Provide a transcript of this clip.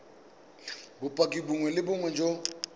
bopaki bongwe le bongwe jo